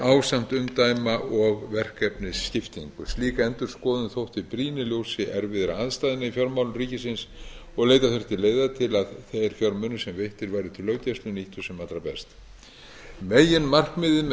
ásamt umdæma og verkefnisskiptingu slík endurskoðun þótti brýn í ljósi erfiðra aðstæðna í fjármálum ríkisins og leita þurfti leiða til að þeir fjármunir sem veittir væru til löggæsla nýttust sem allra best meginmarkmiðið með